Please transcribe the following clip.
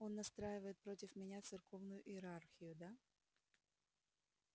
он настраивает против меня церковную иерархию да